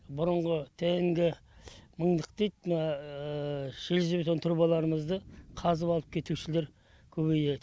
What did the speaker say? бұрынғы тнг мыңдық дейді мына железобетон трубаларымызды қазып алып кетушілер көбейді